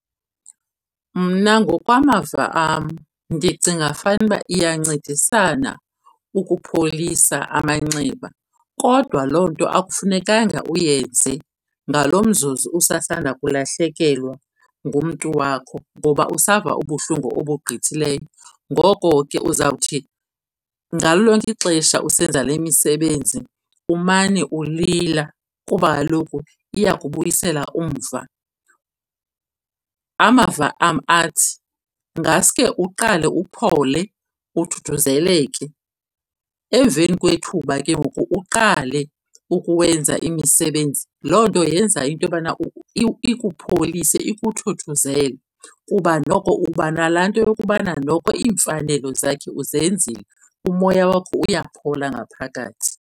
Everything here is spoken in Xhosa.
Mna ngokwamava am ndicinga fanuba iyancedisana ukupholisa amanxeba, kodwa loo nto akufunekanga uyenze ngalo mzuzu usasanda kulahlekelwa ngumntu wakho ngoba usava ubuhlungu obugqithileyo. Ngoko ke uzawuthi ngalo lonke ixesha usenza le misebenzi umane ulila kuba kaloku iyakubuyisela umva. Amava am athi, ngaske uqale uphole, uthuthuzeleke, emveni kwethuba ke ngoku uqale ukuwenza imisebenzi. Loo nto yenza into yobana ikupholise, ikuthuthuzele kuba noko uba nalaa nto yokokubana noko iimfanelo zakhe uzenzile, umoya wakho uyaphola ngaphakathi.